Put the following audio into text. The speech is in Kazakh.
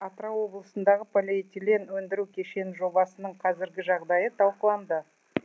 осы ретте атырау облысындағы полиэтилен өндіру кешені жобасының қазіргі жағдайы талқыланды